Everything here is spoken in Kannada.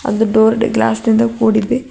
ಒಂದು ಡೋರ್ ಗ್ಲಾಸ್ ನಿಂದ ಕೂಡಿದೆ.